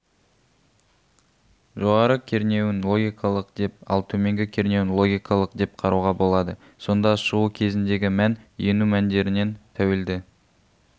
жоғары кернеуін логикалық деп ал төменгі кернеуін логикалық деп қарауға болады сонда шығу көзіндегі мән ену мәндерінен тәуелді